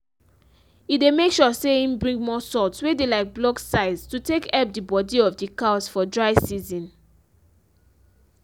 he dey make sure say im bring more salts wey dey like blocks size to take help the body of the cows for dry season.